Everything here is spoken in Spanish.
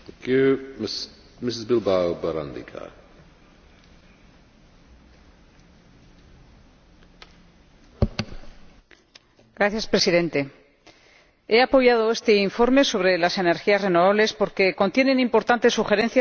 Señor Presidente, he apoyado este informe sobre las energías renovables porque contiene importantes sugerencias para mejorar nuestra actual regulación.